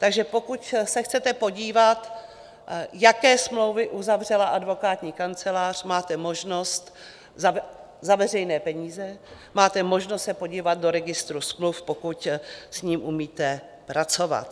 Takže pokud se chcete podívat, jaké smlouvy uzavřela advokátní kancelář, máte možnost, za veřejné peníze, máte možnost se podívat do Registru smluv, pokud s ním umíte pracovat.